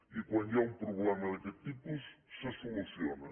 i quan hi ha un problema d’aquest tipus se soluciona